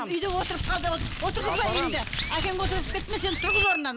үйде отырып қалды отырғызба үйіңде әкең отырғызып кетті ме сен тұрғыз орнынан